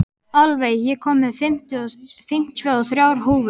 Álfey, ég kom með fimmtíu og þrjár húfur!